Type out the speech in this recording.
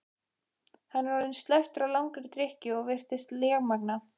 Hann er orðinn slæptur af langri drykkju og virðist lémagna.